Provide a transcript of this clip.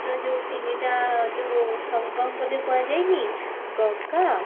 ରେ ଯଉ ତିନିଟା ଯଉ ସଙ୍ଗମ ବୋଲି କୁହା ଯାଇନି ଗଙ୍ଗା